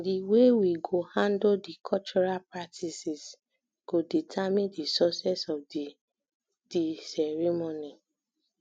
the way we go handle di cultural practices go determine di success of the the ceremony